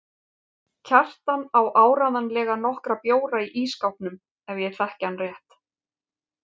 Kjartan á áreiðanlega nokkra bjóra í ísskápnum ef ég þekki hann rétt.